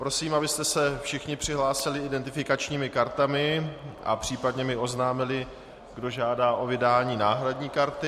Prosím, abyste se všichni přihlásili identifikačními kartami a případně mi oznámili, kdo žádá o vydání náhradní karty.